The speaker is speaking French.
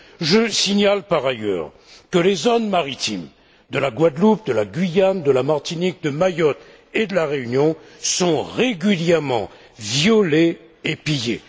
Je signale, par ailleurs, que les zones maritimes de la Guadeloupe, de la Guyane, de la Martinique, de Mayotte et de la Réunion sont régulièrement violées et pillées.